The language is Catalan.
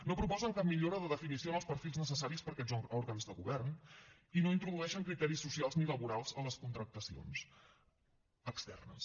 no proposen cap millora de definició en els perfils necessaris per a aquests òrgans de govern i no introdueixen criteris socials ni laborals a les contractacions externes